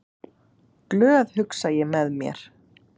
Glöð, hugsa ég með mér.